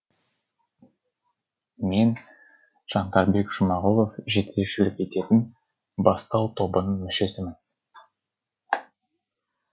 мен жандарбек жұмағұлов жетекшілік ететін бастау тобының мүшесімін